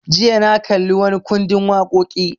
Jiya na kalli wani ƙundin waƙoƙi